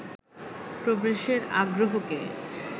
প্রবেশের আগ্রহকে